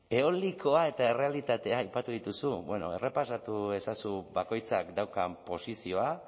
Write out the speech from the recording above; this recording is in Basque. eolikoa eta errealitatea aipatu dituzu errepasatu ezazu bakoitzak daukan posizioa